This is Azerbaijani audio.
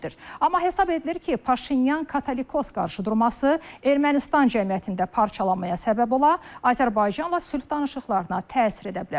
Amma hesab edilir ki, Paşinyan katolikos qarşıdurması Ermənistan cəmiyyətində parçalanmaya səbəb ola, Azərbaycanla sülh danışıqlarına təsir edə bilər.